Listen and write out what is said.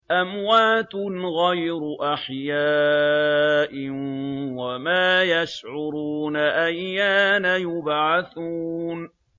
أَمْوَاتٌ غَيْرُ أَحْيَاءٍ ۖ وَمَا يَشْعُرُونَ أَيَّانَ يُبْعَثُونَ